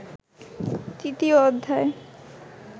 তৃতীয় অধ্যায়